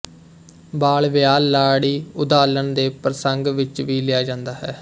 ਬਾਲ ਵਿਆਹ ਲਾੜੀ ਉਧਾਲਨ ਦੇ ਪ੍ਰਸੰਗ ਵਿੱਚ ਵੀ ਲਿਆ ਜਾਂਦਾ ਹੈ